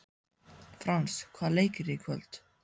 Frans, hvaða leikir eru í kvöld?